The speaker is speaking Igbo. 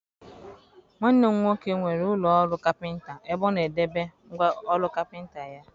Nwanne m nwoke nwere ụlọ ọrụ kapịnta ebe ọ na-edebe ngwa ọrụ kapịnta ya.